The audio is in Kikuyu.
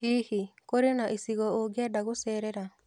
Hihi, kũrĩ na icigo ũngĩenda gũcerera?